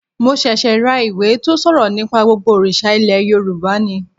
Mo ṣẹ̀ṣẹ̀ ra ìwé tó ṣòrọ̀ nípa gbogbo òrìṣà ilẹ̀ Yorùbá ni